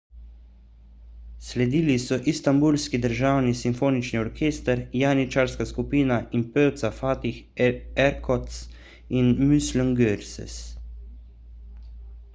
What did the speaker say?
sledili so istanbulski državni simfonični orkester janičarska skupina in pevca fatih erkoç ter müslüm gürses